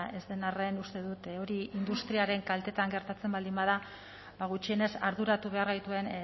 ez den arren uste dut hori industriaren kaltetan gertatzen baldin bada ba gutxienez arduratu behar gaituen